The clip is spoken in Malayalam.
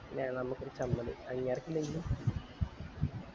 പിന്നെ നമ്മക്കൊരു ചമ്മല് അയിൻറെ എടക്ക്